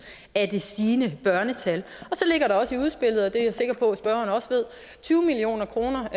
af det stigende børnetal så ligger der også i udspillet og det er jeg sikker på at spørgeren også ved tyve million kroner